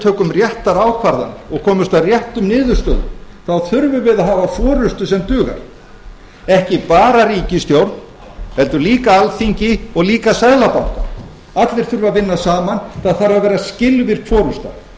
tökum réttar ákvarðanir og komumst að réttum niðurstöðum þá þurfum við að hafa forustu sem dugar ekki bara ríkisstjórn heldur líka alþingi og líka seðlabanka allir þurfa að vinna saman það þarf að vera skilvirk forusta